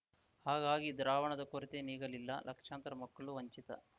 ಹಾಗಾಗಿ ದ್ರಾವಣದ ಕೊರತೆ ನೀಗಲಿಲ್ಲ ಲಕ್ಷಾಂತರ ಮಕ್ಕಳು ವಂಚಿತ